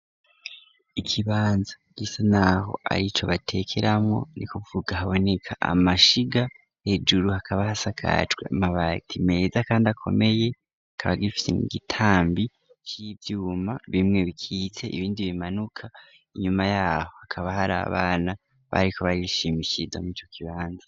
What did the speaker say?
Ikibanza gisa naho arico batekeramwo nukuvuga haboneka amashiga hejuru hakaba hasakajwe amabati meza kandi akomeye, kikaba gifise igitambi c'ivyuma bimwe bikitse ibindi bimanuka, inyuma yaho hakaba har'abana bariko barishimishiriza mwico kibanza.